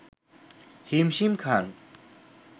হিমশিম খান